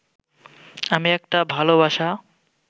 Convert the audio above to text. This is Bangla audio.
আমি একটা ভাল বাসা